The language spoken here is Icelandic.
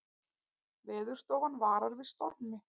Veðurstofan varar við stormi